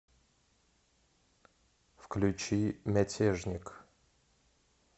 включи мятежник